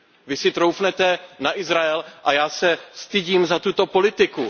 Vy si troufnete na Izrael a já se stydím za tuto politiku.